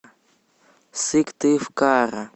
сыктывкара